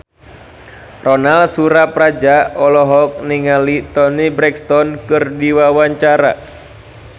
Ronal Surapradja olohok ningali Toni Brexton keur diwawancara